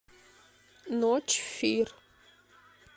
ночь фир